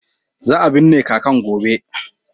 Za a binne kakan gobe.